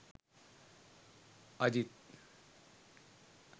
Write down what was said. Aijth